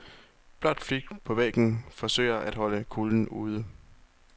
Blåt filt på væggen forsøger at holde kulden ude.